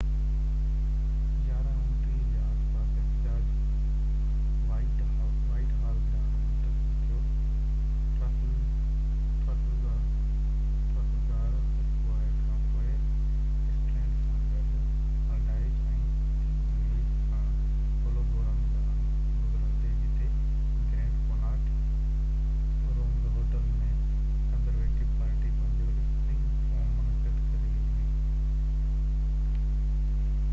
11:29 جي آس پاس احتجاج وائٽ هال ڏانهن منتقل ٿيو ٽرافلگار اسڪوائر کانپوءِ اسٽرينڊ سان گڏ الڊائچ ۽ ڪنگز وي کان هولبورن ڏانهن گذرندي جتي Grand Connaught Rooms hotel ۾ Conservative Party پنهنجو اسپرنگ فورم منعقد ڪري رهي هئي